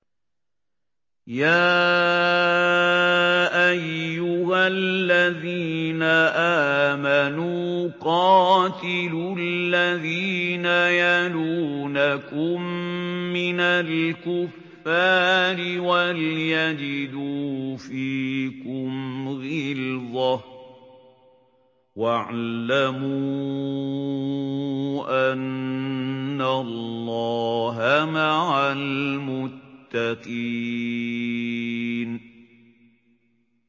يَا أَيُّهَا الَّذِينَ آمَنُوا قَاتِلُوا الَّذِينَ يَلُونَكُم مِّنَ الْكُفَّارِ وَلْيَجِدُوا فِيكُمْ غِلْظَةً ۚ وَاعْلَمُوا أَنَّ اللَّهَ مَعَ الْمُتَّقِينَ